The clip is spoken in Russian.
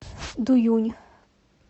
дуюнь